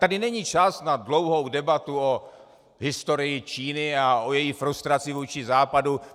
Tady není čas na dlouhou debatu o historii Číny a o její frustraci vůči Západu.